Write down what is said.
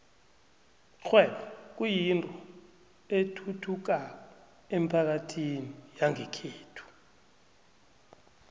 ikghwebo kuyinto ethuthukako emphakathini yangekhethu